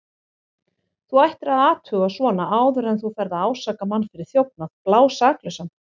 Þú ættir að athuga svona áður en þú ferð að ásaka mann fyrir þjófnað, blásaklausan.